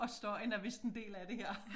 Også støjen er vist en del af det her